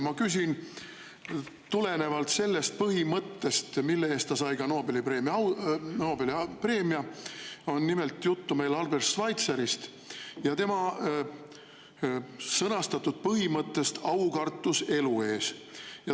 Ma küsin tulenevalt põhimõttest, mille eest selle autor sai ka Nobeli preemia – nimelt on juttu Albert Schweitzerist ja tema sõnastatud põhimõttest "aukartus elu ees".